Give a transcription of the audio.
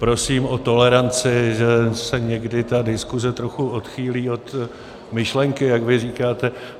Prosím o toleranci, že se někdy ta diskuze trochu odchýlí od myšlenky, jak vy říkáte.